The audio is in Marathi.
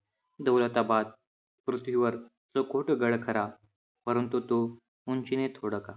दौलताबाद पृथ्वीवर गड खरा, परंतु तो उंचीने थोडका.